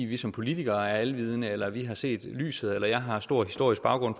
vi som politikere er alvidende eller har set lyset eller at jeg har stor historisk baggrund